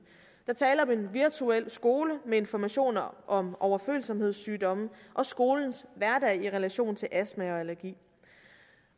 er tale om en virtuel skole med informationer om overfølsomhedssygdomme og skolens hverdag i relation til astma og allergi